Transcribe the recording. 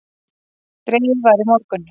Dregið var í morgun